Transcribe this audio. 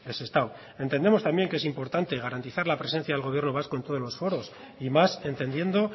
sestao entendemos también que es importante garantizar la presencia del gobierno vasco en todos los foros y más entendiendo